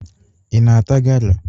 Ị na-ata gala?